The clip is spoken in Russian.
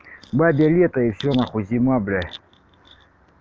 бабье лето и всё нахуй зима бля